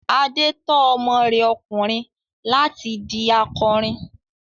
Adé tọ́ ọmọ rẹ ọkùnrin láti di akọrin.